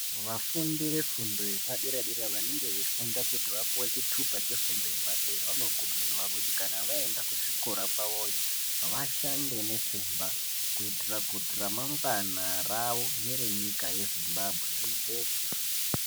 Vafundi ve fundo yepa dera dera vanenge veyi funda kuti vapuwe chitupa che fundo yepa dera vano kurudzirwa kuti kana vaenda ku zvikora kwavoyo vashande ne simba kuitira kuti ra mangwana ravo nere nyika ye Zimbabwe rijeke.